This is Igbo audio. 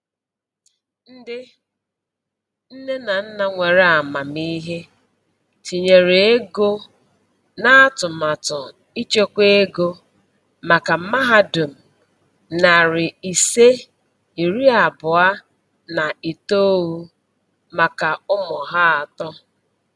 Ndi nne na nna nwere amamihe tinyere ego na atụmatụ ịchekwa ego maka mahadum nari ise iri abuo na itoou maka ụmụ ha atọ.